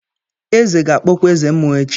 Eze ga-akpọkwa eze mmuo echi.